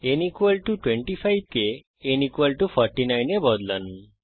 n 25 কে n 49 এ বদলান